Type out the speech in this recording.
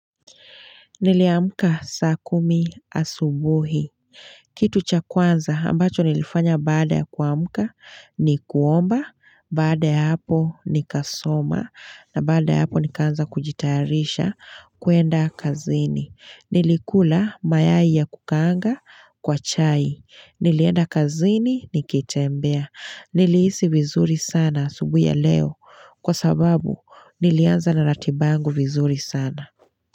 Niliamka saa kumi asubuhi. Kitu cha kwanza ambacho nilifanya baada ya kuamka ni kuomba, baada ya hapo nikasoma. Na baada ya hapo nikaanza kujitayarisha kuenda kazini. Nilikula mayai ya kukaanga kwa chai. Nilienda kazini nikitembea. Nilihisi vizuri sana asubuhi ya leo kwa sababu nilianza na ratiba yangu vizuri sana.